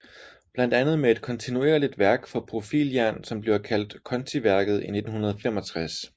Blandt andet med et kontinuerligt værk for profiljern som bliver kaldt kontiværket i 1965